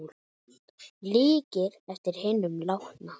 Líkir eftir hinum látna